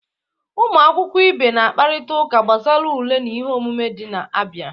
Ụmụ akwụkwọ ibe na-akparịta ụka gbasara ule na ihe omume ndị na-abịa